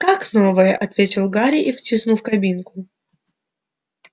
как новая ответил гарри и втисну в кабинку